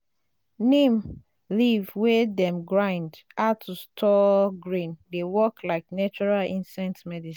neem leaf wey dem grind add to store grain dey work like natural insect medicine.